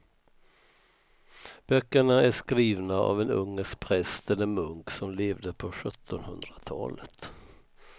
Böckerna är skrivna av en ungersk präst eller munk som levde på sjuttonhundratalet.